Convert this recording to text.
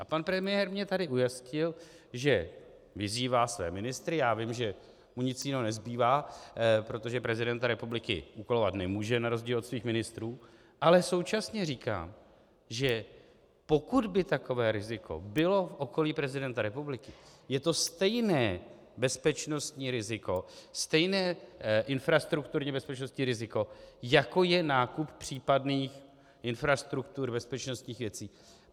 A pan premiér mě tady ujistil, že vyzývá své ministry, já vím, že mu nic jiného nezbývá, protože prezidenta republiky úkolovat nemůže na rozdíl od svých ministrů, ale současně říká, že pokud by takové riziko bylo v okolí prezidenta republiky, je to stejné bezpečnostní riziko, stejné infrastrukturně bezpečnostní riziko, jako je nákup případných infrastruktur bezpečnostních věcí.